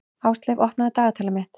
Ásleif, opnaðu dagatalið mitt.